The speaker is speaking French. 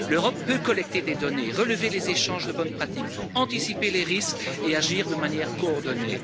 L'Europe peut collecter des données, relever les échanges de bonnes pratiques, anticiper les risques et agir de manière coordonnée.